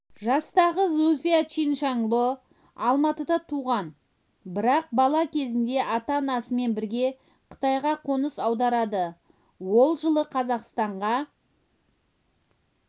жастағы зүлфия чиншанло алматыда туған бірақ бала кезінде ата-анасымен бірге қытайға қоныс аударады ол жылы қазақстанға